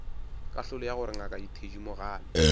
kahlolo ya gore ngaka thedimogane